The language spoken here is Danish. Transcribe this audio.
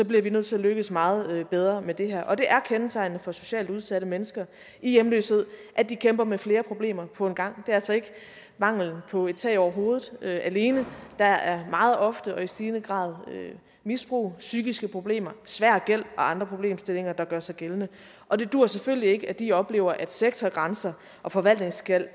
bliver vi nødt til at lykkes meget bedre med det her og det er kendetegnende for socialt udsatte mennesker i hjemløshed at de kæmper med flere problemer på en gang det er altså ikke manglen på et tag over hovedet alene der er meget ofte og i stigende grad misbrug psykiske problemer svær gæld og andre problemstillinger der gør sig gældende og det duer selvfølgelig ikke at de oplever at sektorgrænser og forvaltningsgæld